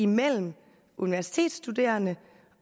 mellem universitetsstuderende